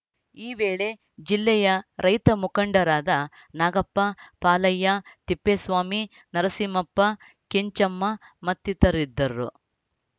ಈ ವೇಳೆ ಜಿಲ್ಲೆಯ ರೈತ ಮುಖಂಡರಾದ ನಾಗಪ್ಪ ಪಾಲಯ್ಯ ತಿಪ್ಪೇಸ್ವಾಮಿ ನರಸಿಂಹಪ್ಪ ಕೆಂಚಮ್ಮ ಮತ್ತಿತರರಿದ್ದರು